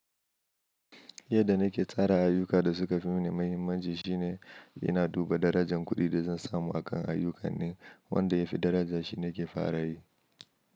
Yadda na ke tsara ayyuka da suka fi mani mahimmanci shine ina duba darajar kuɗin da zan samu akan ayyukan ne, wanda ya fi daraja shi ne ke fara yi.